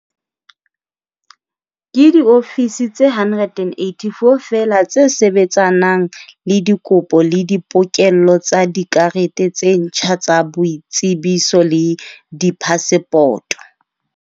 Ke diofisi tse 184 feela tse sebetsanang le dikopo le dipokello tsa dikarete tse ntjha tsa boitsebiso le diphasepoto.